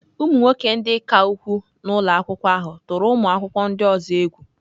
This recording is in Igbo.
Ụmụ nwoke ndị ka ukwuu nọ n'ụlọ akwụkwọ ahụ tụrụ ụmụ akwụkwọ ndị ọzọ egwu.